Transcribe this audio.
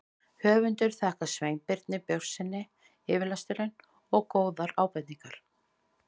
Höfundur þakkar Sveinbirni Björnssyni yfirlestur og góðar ábendingar.